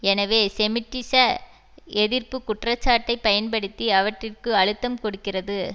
எனவே செமிட்டிச எதிர்ப்பு குற்றச்சாட்டை பயன்படுத்தி அவற்றிற்கு அழுத்தம் கொடுக்கிறது